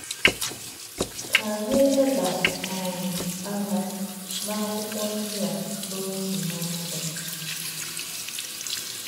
Kà̄ ànyí̄ lè̄bá̄ um ànyá̄ n’ákú̄kwó̄ ndí̄ ā̄ n’òtú̄ n’òtú̄.